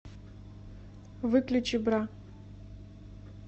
выключи бра